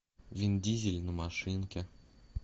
вин дизель на машинке